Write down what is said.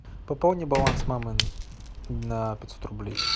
пополни баланс мамы на пятьсот рублей